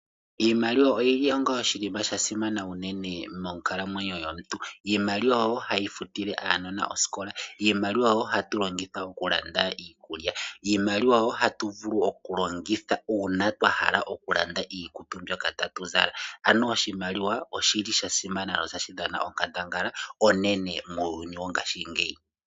Iimaliwa oyili onga oshinima sha simana unene monkalamwenyo yomuntu. Iimaliwa oyo hayi futile aanona osikola. Iimaliwa oyo hatu longitha okulanda iikulya. Iimaliwa oyo hatu vulu okulongitha uuna twa hala okulanda iikutu mbyoka tatu zala. Ano oshimaliwa oshili sha simana notashi dhana onkandangala muuyuni mbuka wongashingeyi.